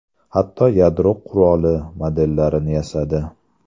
Hatto yadro qurolini modellarini yasadi.